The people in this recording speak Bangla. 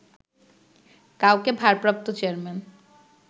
কাউকে ভারপ্রাপ্ত চেয়ারম্যান